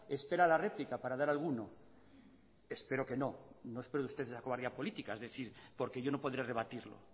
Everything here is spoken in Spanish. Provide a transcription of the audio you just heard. espera la réplica para dar alguno espero que no y no espero de usted esa cobardía política porque yo no podré rebatirlo